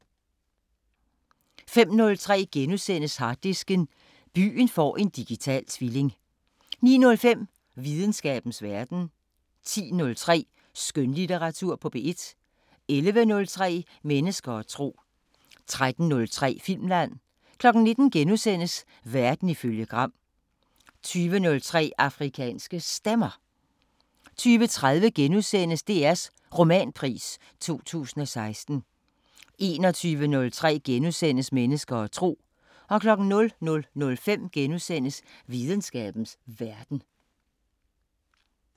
05:03: Harddisken: Byen får en digital tvilling * 09:05: Videnskabens Verden 10:03: Skønlitteratur på P1 11:03: Mennesker og tro 13:03: Filmland 19:00: Verden ifølge Gram * 20:03: Afrikanske Stemmer 20:30: DRs Romanpris 2016 * 21:03: Mennesker og tro * 00:05: Videnskabens Verden *